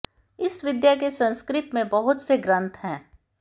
इस विद्या के संस्कृत में बहुत से ग्रन्थ हैं